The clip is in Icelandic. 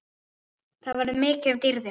Það verður mikið um dýrðir.